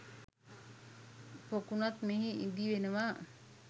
පොකුණුත් මෙහි ඉදි වෙනවා